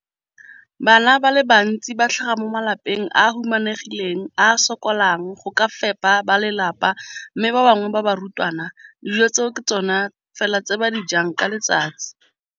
Bana ba le bantsi ba tlhaga mo malapeng a a humanegileng a a sokolang go ka fepa ba lelapa mme ba bangwe ba barutwana, dijo tseo ke tsona fela tse ba di jang ka letsatsi.